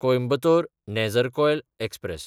कोयंबतोर–नेजरकॉयल express